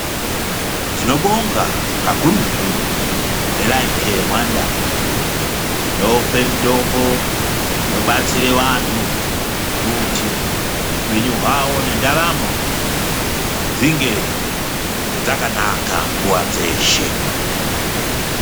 Tinobonga kakurutu neLife Care Rwanda inope mitombo inobatsire vanthu kuti upenyu hwawo nendaramo dzinge dzakanaka nguwa dzeshe.